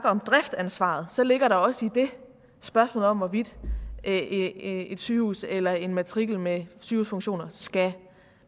om driftsansvaret så ligger der også i det spørgsmålet om hvorvidt et sygehus eller en matrikel med sygehusfunktioner skal